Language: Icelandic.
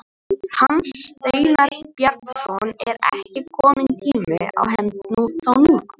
Hans Steinar Bjarnason: Er ekki kominn tími á hefnd þá núna?